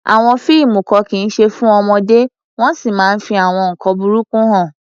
Àwọn fíìmù kan kì í ṣe fún ọmọdé wọ́n sì máa ń fi àwọn nkan burúkú hàn.